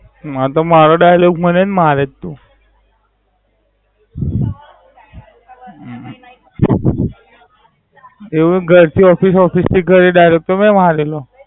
હા તો મારો Dialogue મને જ મારે છ તું. એવું ઘરથી Office office થી ઘરે Dialogue મેં મારેલો.